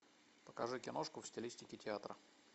покажи киношку в стилистике театра